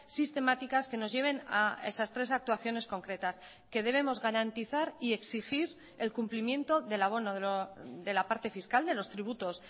sistemáticas que nos lleven a esas tres actuaciones concretas que debemos garantizar y exigir el cumplimiento del abono de la parte fiscal de los tributos